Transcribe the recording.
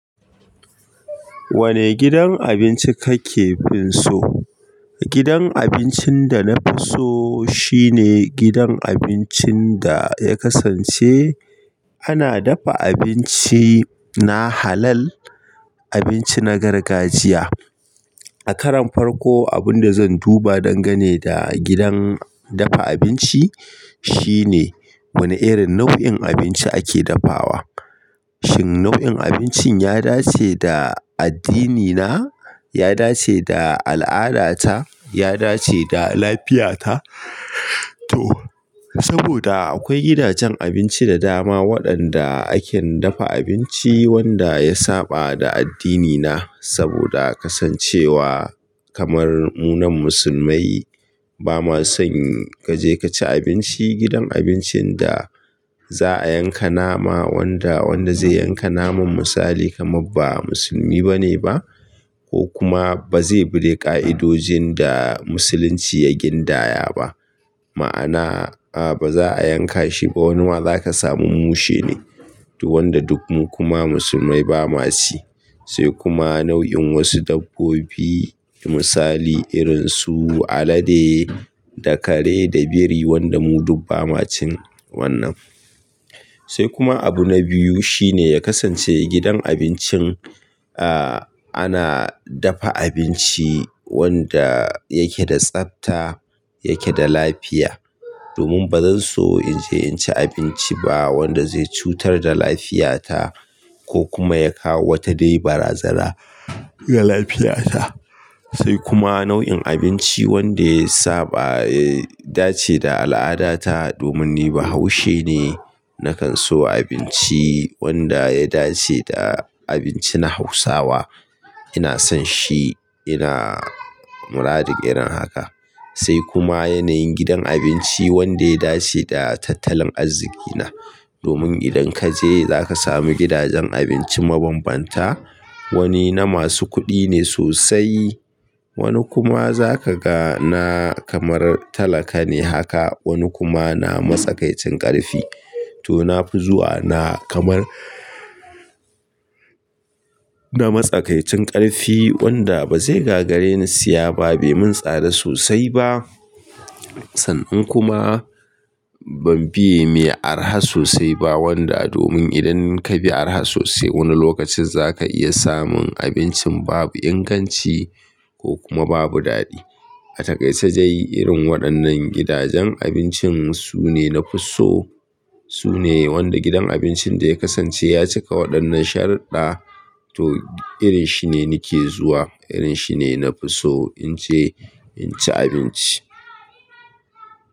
Wane gidan abinci kake finso? Gidan abincin da na fi so shine gidan abincin da ya kasance ana dafa abinci na halal, abinci na gargajiya. A karon farko abun da zan duba dangane da gidan dafa abinci shine wane irin nau'in abinci ake dafawa. Shin nau'in abincin ya dace da addinina? Ya dace da al'adata? Ya dace da lafiyata? To saboda akwai gidajen abinci da dama waɗanda ake dafa abinci wanda ya saɓa da addinina saboda kasancewa kamar mu nan musulmai bamason kaje kaci abinci gidan abincin da za'a yanka nama wanda, wanda zai yanka naman misali kamar ba musulmi bane ba ko kuma bazai bi ka'idojin da musulunci ya gindaya ba. Ma'ana a ba za'a yanka shi ba wa nima zaka samu mushe ne wanda duk mu kuma musulmai bamaci. Sai kuma nau'in wasu dabbobi misali irinsu alade da kare da biri wanda mu duk bamacin wannan. Sai kuma abu na biyu shine ya kasance gidan abincin a ana dafa abinci wanda yake da tsafta, yake da lafiya. Domin bazan so inje in ci abinci ba wanda zai cutar da lafiyata ko kuma ya kawo wata dai baraza na ga lafiyata. Sai kuma nau'in abinci wanda ya saɓa ya dace da al'adata domin ni bahaushe ne nakan so abinci wanda ya dace da abinci na hausawa. Ina son shi, ina muradin irin haka. Sai kuma yanayin gidan abinci wanda ya dace da tattalin arziki na. Domin idan kaje zaka samu gidajen abinci mabanbanta, wani na masu kuɗi ne sosai, wani kuma zaka ga na kamar talaka ne haka, wani kuma na matsakaicin ƙarfi. To nafi zuwa na kamar na matsakaicin ƙarfi wanda bazai gagare ne siya ba, bai mun tsada sosai ba tan in kuma ban fiye mai arha sosai ba wanda domin idan kabi arha sosai wani lokacin zaka iya samun abincin babu inganci ko kuma babu daɗi. A takaice dai irin waɗannan gidajen abinci sune na fi so. Sune wanda gidan abincin da ya kasance ya cika waɗannan sharudɗa to irin shi ne nake zuwa, irin shi ne na fi so inje in ci abinci.